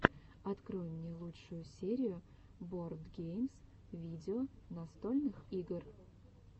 открой мне лучшую серию боардгеймс видео настольных игр